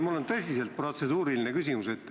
Mul on tõsiselt protseduuriline küsimus.